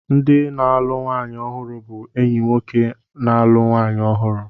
Ndị na-alụ nwanyị ọhụrụ bụ enyi nwoke na-alụ nwanyị ọhụrụ.